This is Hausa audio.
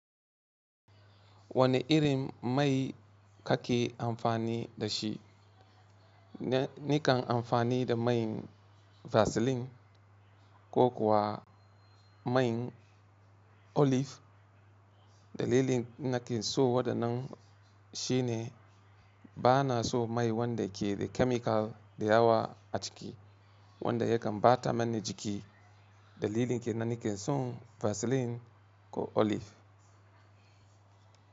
Wani iri mai ka ke amfani da shi? Nikan amfani da main vaseline ko kuwa main olive. Dalilin na ke so wadda nan shine bana so mai wanda ke da chemical da yawa a ciki wanda yakan ɓata ma ni jiki. Dalilin ke nan nake son vaseline ko olive.